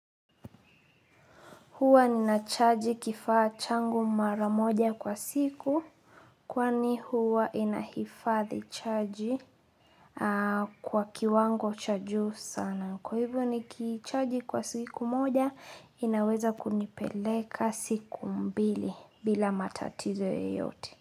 Huwa ninachaji kifaa changu mara moja kwa siku kwani huwa inahifadhi chaji kwa kiwango cha juu sana. Kwa hivyo nikichaji kwa siku moja inaweza kunipeleka siku mbili bila matatizo yeyote.